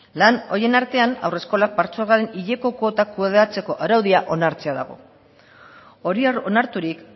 lan horien artean haurreskolak patzuergoaren hileko kuotak kudeatzeko araudia onartzea dago hori onarturik